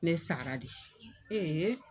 Ne sara di